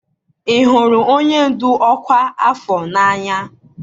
ị hụrụ onye ndu ọkwa afọ n'anya?